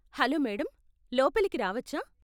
Hello madam, లోపలికి రావచ్చా?